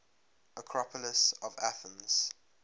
acropolis of athens